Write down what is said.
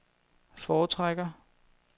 foretrækker